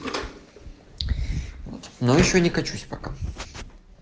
ну ещё не качусь пока